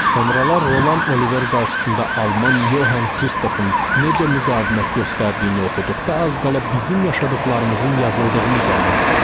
Sonralar Roland Oliver qarşısında Alman Yohan Kristofun necə müqavimət göstərdiyini oxuduqda az qala bizim yaşadıqlarımızın yazıldığını zənn etdim.